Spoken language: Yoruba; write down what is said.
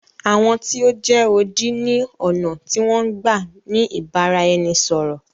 Àwọn tí o jẹ́ odi ni ọ̀nà tí wọn n gbá ni ìbáraẹnisọ̀rọ̀.